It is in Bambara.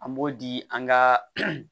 An b'o di an ka